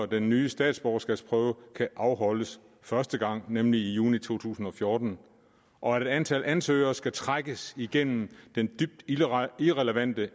den nye statsborgerskabsprøve kan afholdes første gang nemlig i juni to tusind og fjorten og at et antal ansøgere skal trækkes igennem den dybt irrelevante